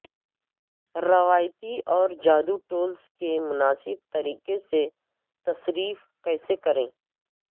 روایتی اور جادو ٹولز کے مناسب طریقے سے تصرف کیسے کریں